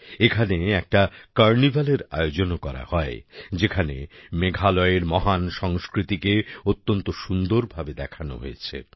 এখানে একটা কার্নিভালের আয়োজনও করা হয় যেখানে মেঘালয়ের মহান সংস্কৃতিকে অত্যন্ত সুন্দরভাবে দেখানো হয়েছে